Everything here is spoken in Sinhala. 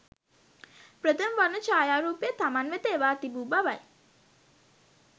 ප්‍රථම වර්ණ ඡායාරූපය තමන් වෙත එවා තිබු බවයි